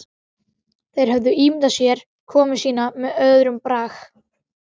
Þeir höfðu ímyndað sér komu sína með öðrum brag.